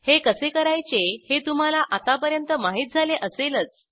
हे कसे करायचे हे तुम्हाला आतापर्यंत माहित झाले असेलच